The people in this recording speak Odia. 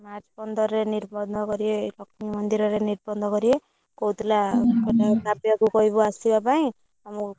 March ପନ୍ଦରରେ ନିର୍ବନ୍ଧ କରିବେ ଲକ୍ଷ୍ମୀ ମନ୍ଦିରରେ ନିର୍ବନ୍ଧ କରିବେ କହୁଥିଲା ମାନେ କାବ୍ୟା କୁ କହିବୁ ଆସିବା ପାଇଁ